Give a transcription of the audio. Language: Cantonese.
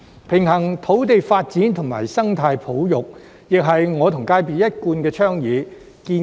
平衡土地發展與生態保育亦是我和業界所一貫倡議。